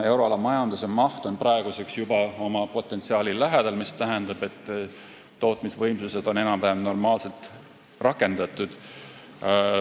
Euroala majanduse maht on praeguseks juba oma potentsiaali lähedal, st tootmisvõimsused on enam-vähem normaalselt rakendatud.